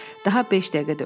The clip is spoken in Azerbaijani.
Daha beş dəqiqə də ötdü.